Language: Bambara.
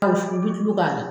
i bɛ tulo k'a la.